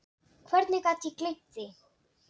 Hvernig gat ég gleymt því?